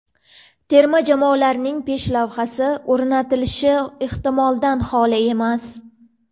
Terma jamoalarning peshlavhasi o‘rnatilishi ehtimoldan xoli emas.